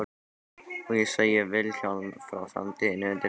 Og ég segi Vilhjálmi frá framtíðinni undir teppinu.